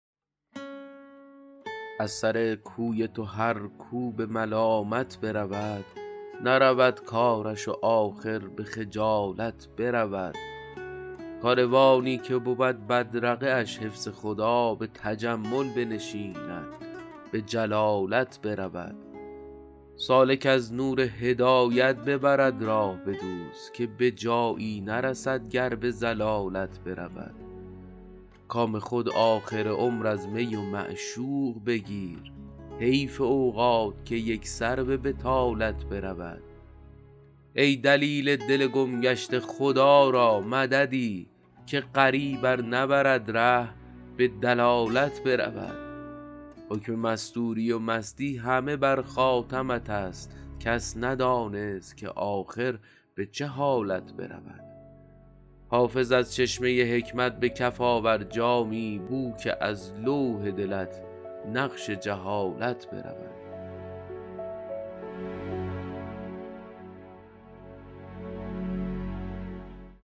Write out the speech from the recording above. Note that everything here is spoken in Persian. از سر کوی تو هر کو به ملالت برود نرود کارش و آخر به خجالت برود کاروانی که بود بدرقه اش حفظ خدا به تجمل بنشیند به جلالت برود سالک از نور هدایت ببرد راه به دوست که به جایی نرسد گر به ضلالت برود کام خود آخر عمر از می و معشوق بگیر حیف اوقات که یک سر به بطالت برود ای دلیل دل گم گشته خدا را مددی که غریب ار نبرد ره به دلالت برود حکم مستوری و مستی همه بر خاتمت است کس ندانست که آخر به چه حالت برود حافظ از چشمه حکمت به کف آور جامی بو که از لوح دلت نقش جهالت برود